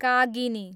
कागिनी